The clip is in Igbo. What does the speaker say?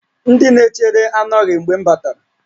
Ndị na-echere anọghị mgbe m batara